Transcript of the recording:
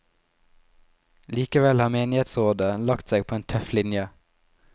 Likevel har menighetsrådet lagt seg på en tøff linje.